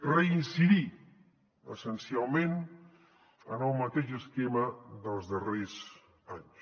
reincidir essencialment en el mateix esquema dels darrers anys